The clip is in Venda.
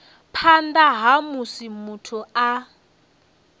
phanḓa ha musi muthu a